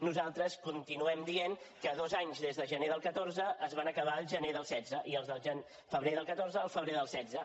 nosaltres continuem dient que dos anys des de gener del catorze es van acabar al gener del setze i els de febrer del catorze al febrer del setze